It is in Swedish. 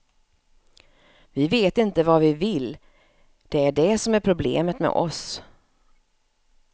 Vi vet inte vad vi vill, det är det som är problemet med oss.